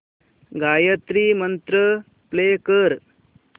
Gayatri Mantra play कर